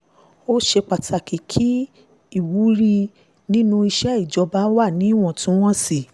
ó ṣe pàtàkì láti mú kí ìwúrí inú iṣẹ́ ìjọba wà níwọ̀ntúnwọ̀nsì